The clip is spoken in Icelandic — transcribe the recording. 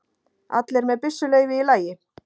Allir með byssuleyfi í lagi